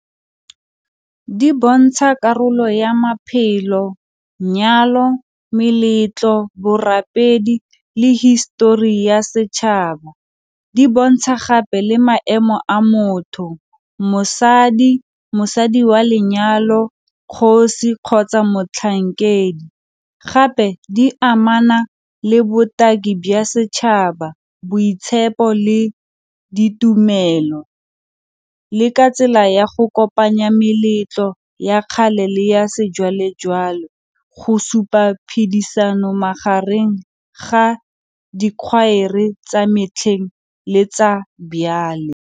Di bontsha karolo ya maphelo, nyalo, meletlo, borapedi le history ya setšhaba. Di bontsha gape le maemo a motho, mosadi, mosadi wa lenyalo, kgosi kgotsa motlhankedi, gape di amana le botaki bya setšhaba, boitshepo le ditumelo, le ka tsela ya go kopanya meletlo ya kgale le ya sejwalejwale go supa phedisano magareng ga dikhwaere tsa metlheng le tsa byale.